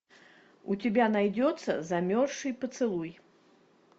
у тебя найдется замерзший поцелуй